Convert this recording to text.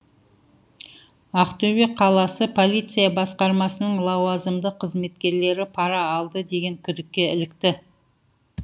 ақтөбе қаласы полиция басқармасының лауазымды қызметкерілері пара алды деген күдікке ілікті